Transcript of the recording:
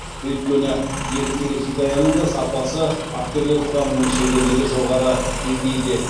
өйткені екі телехикаяның да сапасы актерлер құрамының шеберлігі жоғары деңгейде